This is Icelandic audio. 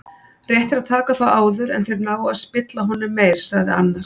Rétt er að taka þá áður en þeir ná að spilla honum meir, sagði annar.